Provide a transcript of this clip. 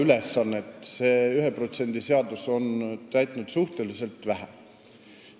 Tegelikult on 1% seadus seda ülesannet suhteliselt vähe täitnud.